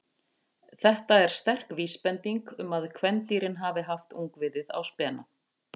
Þetta er sterk vísbending um að kvendýrin hafi haft ungviðið á spena.